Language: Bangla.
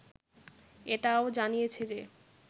এটাও জানিয়েছে যে